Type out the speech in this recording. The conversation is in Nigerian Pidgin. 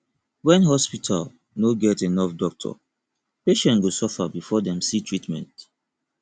when hospital no get enough doctor patient go suffer before dem see treatment